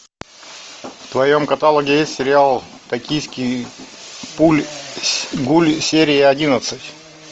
в твоем каталоге есть сериал токийский гуль серия одиннадцать